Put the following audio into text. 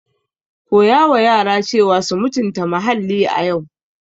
Teach children to respect the environment today.